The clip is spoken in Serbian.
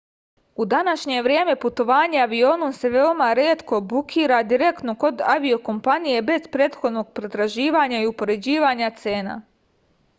u današnje vreme putovanje avionom se veoma retko bukira direktno kod avio-kompanije bez prethodnog pretraživanja i upoređivanja cena